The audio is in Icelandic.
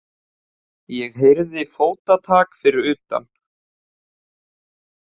Ég heyrði fótatak fyrir utan.